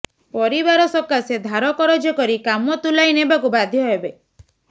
ପରିବାର ସକାଶେ ଧାର କରଜ କରି କାମ ତୁଲାଇ ନେବାକୁ ବାଧ୍ୟ ହେବେ